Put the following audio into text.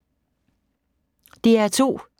DR2